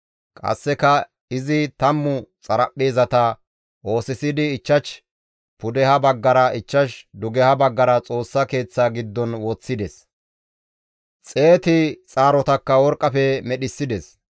Qasseka izi 10 xaraphpheezata oosisidi 5 pudeha baggara, 5 dugeha baggara Xoossa Keeththaa giddon woththides; 100 xaarotakka worqqafe medhissides.